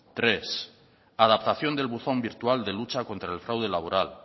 tres adaptación del buzón virtual de lucha contra el fraude laboral